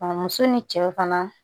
A muso ni cɛ fana